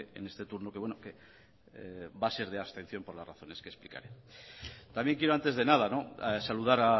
en este turno que va a ser de abstención por las razones que explicaré también quiero antes de nada saludar